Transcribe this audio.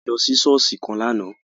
A lọ sí ṣọ̀ọ́sì kan lààná